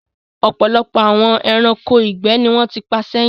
Ọ̀pọ̀lọpọ̀ àwọn ẹranko ìgbẹ́ ni wọ́n ti pa sẹ́yìn.